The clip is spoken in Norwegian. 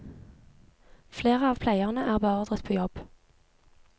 Flere av pleierne er beordret på jobb.